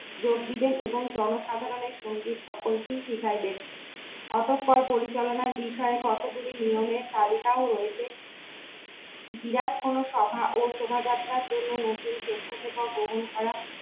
যোগ দিলেন এবং জনসাধারণের সঙ্গে সকলকে শিখাইবে, অতঃপর পরিচালনায় বিষয়ে কতগুলি নিয়মের তালিকা রয়েছে বিরাট কোন সভা ও শোভাযাত্রার জন্য নতুন স্বেচ্ছাসেবক